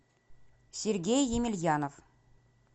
сергей емельянов